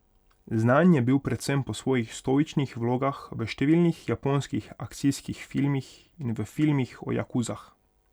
Znan je bil predvsem po svojih stoičnih vlogah v številnih japonskih akcijskih filmih in v filmih o jakuzah.